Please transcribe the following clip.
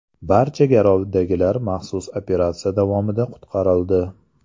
Barcha garovdagilar maxsus operatsiya davomida qutqarildi.